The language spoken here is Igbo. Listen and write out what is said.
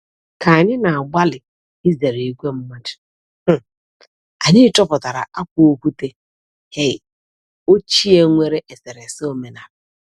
Ka anyị na-agbalị izere ìgwè mmadụ, um anyị chọpụtara akwa okwute um ochie nwere eserese omenaala.